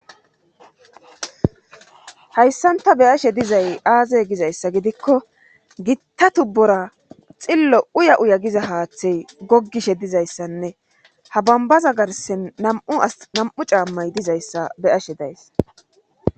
hayssanta beyashe dizay aaze gizayssa gidikko gitta tubbura xillo uya uya giza haaththey goggishe dizayssanne ha bambaza garsen mnam7u caammay dizayssa beyashe days